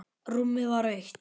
Rúmið var autt.